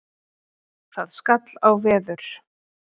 Það skall á veður.